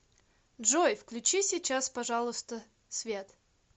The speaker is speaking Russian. джой включи сейчас пожалуйста свет